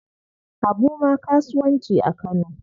Habu ma kasuwanci a Kano.